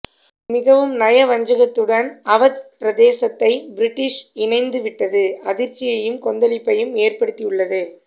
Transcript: மிகவும் நயவஞ்சகத்துடன் அவத் பிரதேசத்தை பிரிட்டிஷ் இணைத்து விட்ட்து அதிர்ச்சியையும்கொந்தளிப்பையும் ஏற்படுத்தி உள்ளது